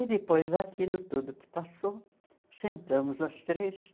E depois daquilo tudo que passou, sentamos as três